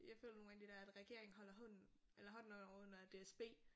Jeg føler nogle gange det der at regeringen holder hånden eller hånden under DSB